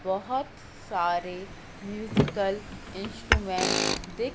बहोत सारे musical instrument दिख--